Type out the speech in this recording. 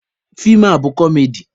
Feem a bụ kọmedi.